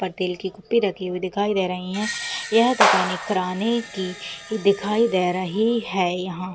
पर तेल की कुप्पी रखी हुई दिखाई दे रहीं है यह दुकान एक किराने की दिखाई दै रही है यहाँ।